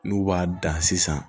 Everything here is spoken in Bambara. N'u b'a dan sisan